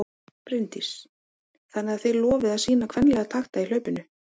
Bryndís: Þannig að þið lofið að sýna kvenlega takta í hlaupinu?